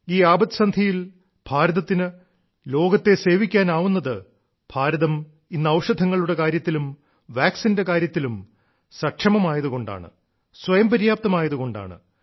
ഈ ആപത്സന്ധിയിൽ ഭാരതത്തിന് ലോകത്തെ സേവിക്കാനാവുന്നത് ഭാരതം ഇന്ന് ഔഷധങ്ങളുടെ കാര്യത്തിലും വാക്സിന്റെ കാര്യത്തിലും സക്ഷമമായതു കൊണ്ടാണ് സ്വയംപര്യാപ്തമായതു കൊണ്ടാണ്